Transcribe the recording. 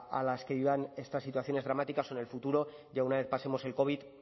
a las que vivan estas situaciones dramáticas en el futuro ya una vez pasemos el covid